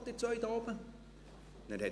«Was macht Ihr zwei dort oben?».